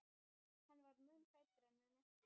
Hann var mun feitari en mig minnti.